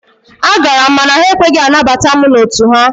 A gara m mana ha ekweghị anabata mụ n'otu ha.